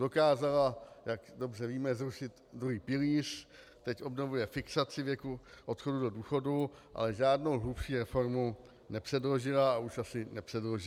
Dokázala, jak dobře víme, zrušit druhý pilíř, teď obnovuje fixaci věku odchodu do důchodu, ale žádnou hlubší reformu nepředložila a už asi nepředloží.